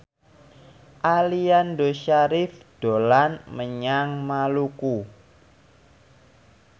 Aliando Syarif dolan menyang Maluku